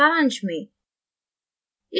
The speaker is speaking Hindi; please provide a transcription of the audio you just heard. सारांश में